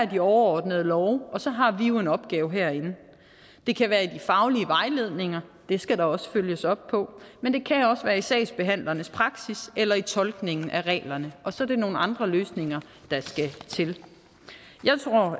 de overordnede love og så har vi jo en opgave herinde det kan være i de faglige vejledninger det skal der også følges op på men det kan også være i sagsbehandlernes praksis eller i tolkningen af reglerne og så er det nogle andre løsninger der skal til